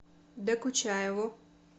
докучаеву